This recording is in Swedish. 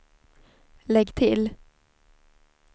lägg till